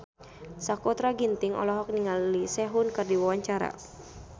Sakutra Ginting olohok ningali Sehun keur diwawancara